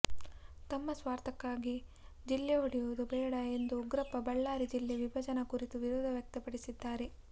ತಮ್ಮ ಸ್ವಾರ್ಥಕ್ಕಾಗಿ ಜಿಲ್ಲೆ ಒಡೆಯುವುದು ಬೇಡ ಎಂದು ಉಗ್ರಪ್ಪ ಬಳ್ಳಾರಿ ಜಿಲ್ಲೆ ವಿಭಜನೆ ಕುರಿತು ವಿರೋಧ ವ್ಯಕ್ತಪಡಿಸಿದ್ದಾರೆ